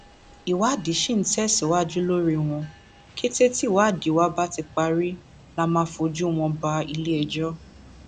ìwádìí sì ń tẹsíwájú lórí wọn kété tíwádìí wa bá ti parí la máa fojú wọn bá iléẹjọ